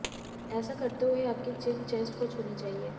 ऐसा करते हुए आपकी चिन चेस्ट को छूनी चाहिए